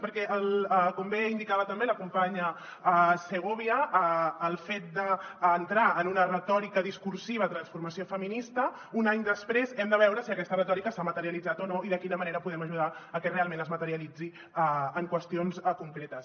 perquè com bé indicava també la companya segovia el fet d’entrar en una retòrica discursiva de transformació feminista un any després hem de veure si aquesta retòrica s’ha materialitzat o no i de quina manera podem ajudar a que realment es materialitzi en qüestions concretes